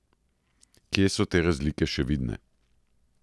Kje so te razlike še vidne?